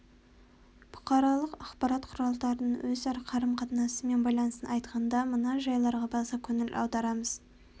бұқаралық ақпарат құралдарының өзара қарым-қатынасы мен байланысын айтқанда мына жайларға баса көңіл аударамыз